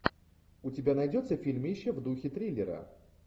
у тебя найдется фильмище в духе триллера